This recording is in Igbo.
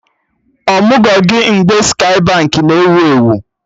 Amụgo gị mgbe Skye Baankị na ewu ewu?